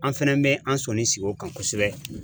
An fɛnɛ bɛ an sɔnni sigi o kan kosɛbɛ